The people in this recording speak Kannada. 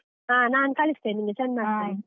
ಹಾ ನಾನ್ ಕಳಿಸ್ತೀನಿ ನಿಂಗೆ, send ಮಾಡ್ತೇನೆ.